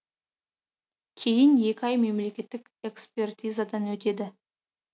кейін екі ай мемлекеттік экспертизадан өтеді